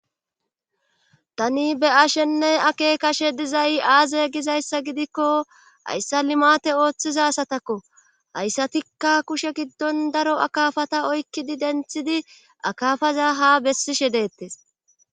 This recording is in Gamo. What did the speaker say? Tani be ashenne ake kashe dizay aazey gizayssa gidikko hayssa limate ooththiza satakko hayssatikka kushe giddon daro akafata oykkidi denthidi akafaza ha bessishe deettes.